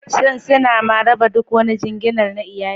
Shin suna ma raba duk wani jinginar iyali?